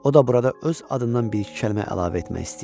O da burada öz adından bir-iki kəlmə əlavə etmək istəyir.